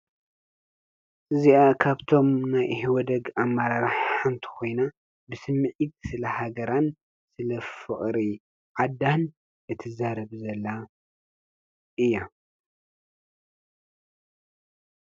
እዚኣ ካብቶም ናይ ኢሕወደግ ኣመራርሓ ሓንቲ ኾይና ብስሚዒት ስለ ሃገራን ስለ ፍቕሪ ዓዳን እትዛረብ ዘላ እያ።